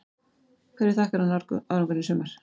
Hverju þakkar hann árangurinn í sumar?